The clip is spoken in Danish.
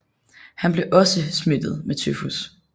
Han blev også smittet med tyfus